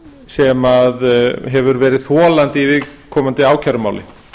sem hefur verið þolandi í viðkomandi ákærumáli